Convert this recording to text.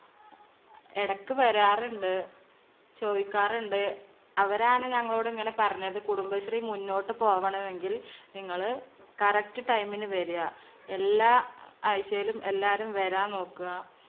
എടക്ക് വരാറുണ്ട്. ചോദിക്കാറുണ്ട്. അവരാണ് ഞങ്ങളോട് ഇങ്ങനെ പറഞ്ഞത്. കുടുംബശ്രീ മുന്നോട്ട് പോവണമെങ്കിൽ നിങ്ങള് correct time ന് വരുക. എല്ലാ ആഴ്ചയിലും എല്ലാരും വരാൻ നോക്കുക.